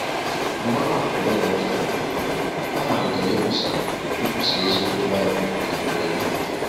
Mgbe ọ hapụrụ ụlọ ụka, ọ malitere ikwusa ikwusa eziokwu Baịbụl n’obodo ya.